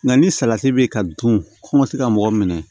Nka ni salati bɛ ka dun ko n ma se ka mɔgɔ minɛ